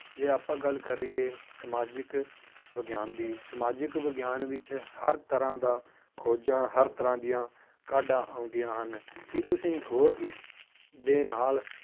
ਜੇ ਆਪਾਂ ਗੱਲ ਕਰੀਏ ਸਮਾਜਿਕ ਵਿਗਿਆਨ ਦੀ ਸਮਾਜਿਕ ਵਿਗਿਆਨ ਵਿੱਚ ਹਰ ਤਰ੍ਹਾਂ ਦਾ ਖੋਜ਼ਾਂ ਹਰ ਤਰ੍ਹਾਂ ਦੀਆਂ ਕਾਢਾਂ ਆਉਂਦੀਆਂ ਹਨ, ਕੀ ਤੁਸੀਂ ਹੋਰ ਇਸ ਦੇ ਨਾਲ